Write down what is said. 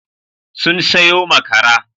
Sun sayo makara.